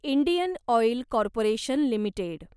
Indian oil corporation limited